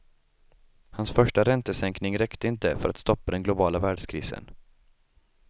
Hans första räntesänkning räckte inte för att stoppa den globala världskrisen.